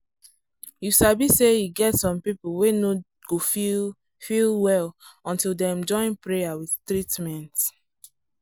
you sabi say e get some people wey no go feel feel well until dem join prayer with treatment.